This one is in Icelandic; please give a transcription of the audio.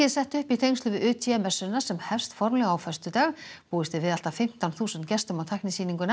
sett upp í tengslum við UT messuna sem hefst formlega á föstudag búist er við allt fimmtán þúsund gestum á